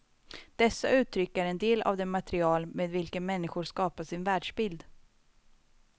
Dessa uttryck är en del av det material med vilken människor skapar sin världsbild.